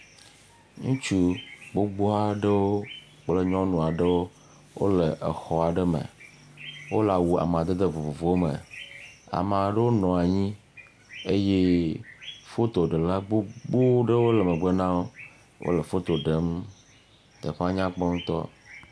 Ŋutsu gbogbo aɖewo kple nyɔnu aeɖwo wole exɔ aɖe me wole awu amadede vovovo aɖewo me ame aɖewo nɔ anyi eye fotoɖela gbogbo aɖewle megbe na wo, teƒea nyakpɔ ŋutɔ.